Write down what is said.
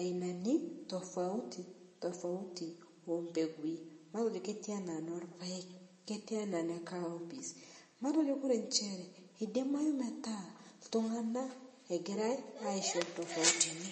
ainani tofauti tofauti, oo intokitin tene, ketiii enaa inoo ilpayek ketii enaa ine kaopis kidimayu metaa iltunganak egirai asho tofautini.